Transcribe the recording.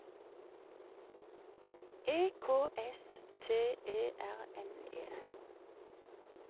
E K S T E R N E